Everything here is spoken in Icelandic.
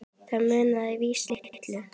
Það munaði víða litlu.